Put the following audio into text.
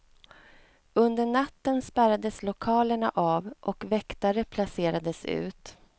Under natten spärrades lokalerna av och väktare placerades ut.